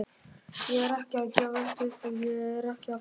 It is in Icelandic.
Ég er ekki að gefast upp og ég er ekki að fara.